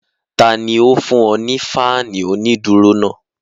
Tani ó fún ọ ní fáànù onídùúró náà?